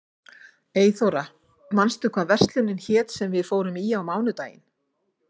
Eyþóra, manstu hvað verslunin hét sem við fórum í á mánudaginn?